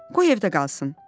Qoy evdə qalsın.